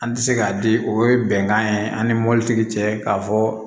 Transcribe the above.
An tɛ se k'a di o ye bɛnkan ye an ni mɔbilitigi cɛ k'a fɔ